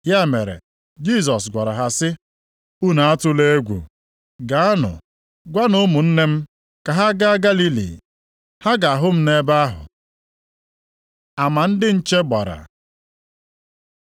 Ya mere Jisọs gwara ha sị, “Unu atụla egwu. Gaanụ, gwanụ ụmụnne m ka ha gaa Galili. Ha ga-ahụ m nʼebe ahụ.” Ama ndị nche gbara